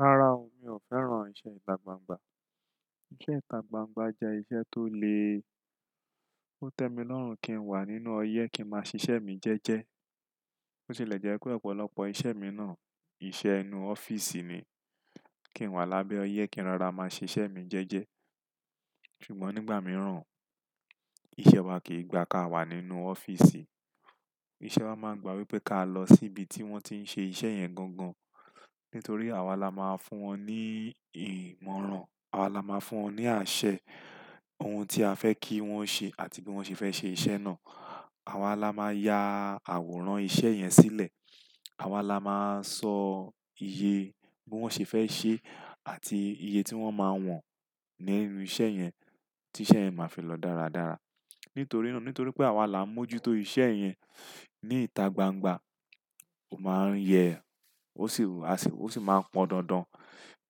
Rárá o, mi ò fẹ́ràn iṣẹ́ ìta gbangba. Iṣẹ́ ìta gbangba jẹ́ iṣẹ́ tó le. Ó tẹ́ mi lọ́rùn kí n wà nínú ọyẹ́ kí n máa ṣiṣẹ́ mi jẹ́ẹ́jẹ́. Ó sì lẹ̀ jẹ́ wípé ọ̀pọ̀lọpọ̀ iṣẹ́ mi náà, iṣẹ́ inú ọ́fíìsì ni. Kí n wà lábẹ́ ọyẹ́ kí n rara máa ṣiṣẹ́ mi jẹ́ẹ́jẹ́. Ṣùgbọ́n nígbà mìíràn, iṣẹ́ wa kìí gba ká wà nínú ọ́fíìsì. Iṣẹ́ wa máa ń gba wípé ká lọ sí ibi tí wọ́n ti ń ṣe iṣẹ́ yẹn gangan. Nítorí àwa la máa fún wọn ní ìmọ̀ràn, àwa la máa fún wọn ní àṣẹ, ohun tí a fẹ́ kí wọ́n ṣe àti bí wọ́n ṣe fẹ́ ṣe iṣẹ́ náà. Àwa la máa ya àwòrán iṣẹ́ yẹn sílẹ̀. Àwa la máa sọ iye bí wọ́n ṣe fẹ́ ṣe àti iye tí wọ́n máa wọ̀n nínú iṣẹ́ yẹn, tí iṣẹ́ yẹn máa fi lọ dáradára. Nítorí náà, nítorí pé àwa là ń mójútó iṣẹ́ yẹn ní ìta gbangba, ó máa ń yẹ, ó sì, a sì, ó sì máa pọn dandan.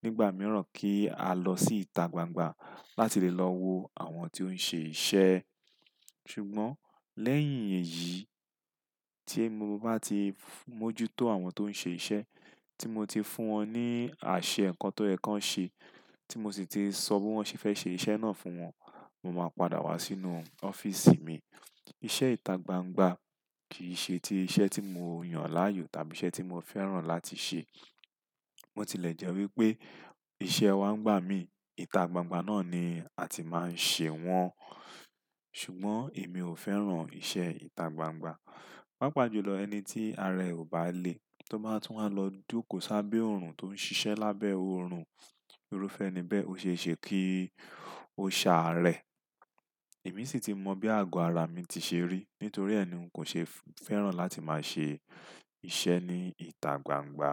Nígbà mìíràn kí á lọ sí ìta gbangba láti lè lọ wo àwọn tí ó ń ṣe iṣẹ́. Ṣùgbọ́n lẹ́yìn èyí tí mo bá ti mójútó àwọn tó ń ṣe iṣẹ́, tí mo ti fún wọn ní àṣẹ nǹkan tó ẹ́ kan ṣe, tí mo sì ti sọ bí wọ́n ṣe fẹ́ ṣe iṣẹ́ náà fún wọn, mo máa padà wá sínú ọ́fíìsì mi. Iṣẹ́ ìta gbangba kì í ṣe ti iṣẹ́ tí mo yàn láàyò tàbí iṣẹ́ tí mo fẹ́ràn láti ṣe. Ó ti lẹ̀ jẹ́ wípé iṣẹ́ wá ń gbà mí, ìta gbangba náà ni a ti máa ń ṣe wọ́n. Ṣùgbọ́n èmi ò fẹ́ràn iṣẹ́ ìta gbangba. Pápá jù lọ ẹni tí ara e ò bá le tó bá tún wá lọ dúkò sábẹ́ oòrùn tó ń ṣiṣẹ́ lábẹ́ oòrùn, irúfẹ́ ni bẹ́ẹ̀ ó ṣe é ṣe kí ó ṣààrẹ̀. Èmi sì ti mọ bí àgọ́ ara mi ti ṣe rí, nítorí ẹ́ ni n kò ṣe fẹ́ràn láti máa ṣe iṣẹ́ ní ìta gbangba.